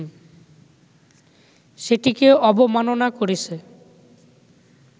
সেটিকে অবমাননা করেছে